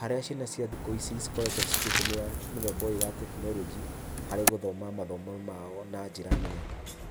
harĩa ciana cia thikũ ici cikoretwo cigĩtũmĩra mũthemba ũyũ wa technology, harĩ gũthoma mathomo mao na njĩra nene.